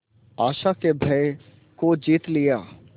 आशा के भय को जीत लिया